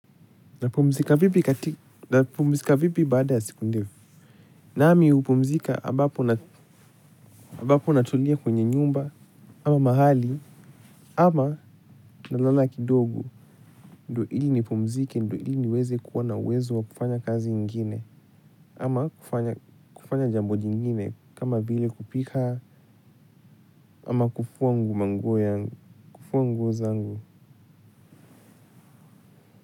Napumzika vipi kati? Napumzika vipi baada ya siku ndefu? Naami hupumzika ambapo ambapo natulia kwenye nyumba ama mahali ama nalala kidogo. Ndo ili nipumzike ndo ili niweze kuwa na uwezo wa kufanya kazi ingine. Ama, kufanya kufanya jambo jingine kama vile kupika, ama kufua manguo yangu. Kufua nguo zangu.